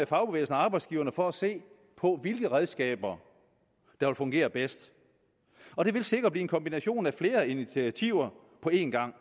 fagbevægelsen og arbejdsgiverne for at se på hvilke redskaber der vil fungere bedst og det vil sikkert blive en kombination af flere initiativer på en gang